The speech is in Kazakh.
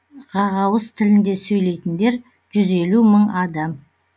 ғағауыз тілінде сөйлейтіндер жүз елу мың адам